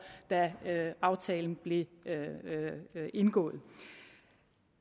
da aftalen blev indgået